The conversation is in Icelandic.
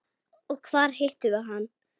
Og hvar hittum við hann?